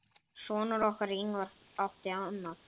Sonur okkar, Ingvar, átti annað.